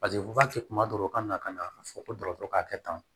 Paseke kuma dɔw ka na ka na a fɔ ko k'a kɛ tan